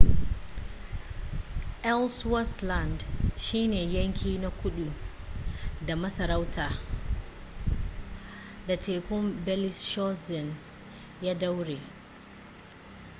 ellsworth land shine yanki na kudu da masarautar da tekun bellingshausen ya daure